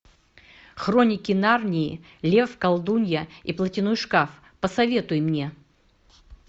хроники нарнии лев колдунья и платяной шкаф посоветуй мне